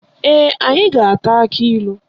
Ee, anyị ga-ata akilu.